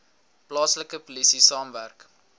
plaaslike polisie saamwerk